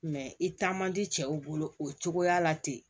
i taa man di cɛw bolo o cogoya la ten